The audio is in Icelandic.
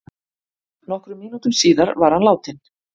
Nokkrum mínútum síðar var hann látinn